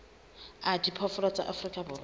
a diphoofolo tsa afrika borwa